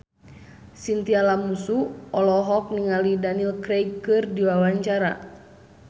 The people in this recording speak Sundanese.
Chintya Lamusu olohok ningali Daniel Craig keur diwawancara